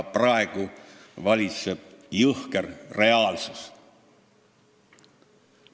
Praegu valitseb jõhker reaalsus.